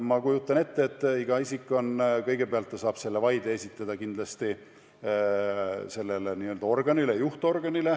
Ma kujutan ette, et isik esitab selle vaide kõigepealt juhtorganile.